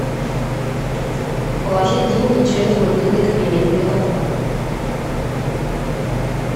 положить деньги через мобильный кабинет мегафон